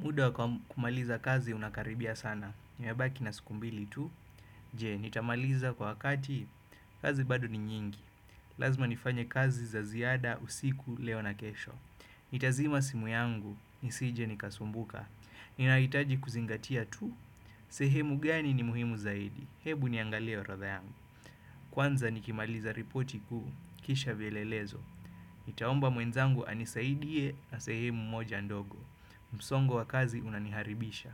Muda wakumaliza kazi unakaribia sana, nimebaki na siku mbili tu. Je, nitamaliza kwa wakati, kazi bado ni nyingi. Lazma nifanye kazi za ziada, usiku, leo na kesho. Nitazima simu yangu, nisije nikasumbuka. Ninahitaji kuzingatia tu. Sehemu gani ni muhimu zaidi, hebu niangalie orodha yangu. Kwanza nikimaliza ripoti kuu, kisha vielelezo. Nitaomba mwenzangu anisaidie na sehemu moja ndogo. Msongo wa kazi unaniharibisha.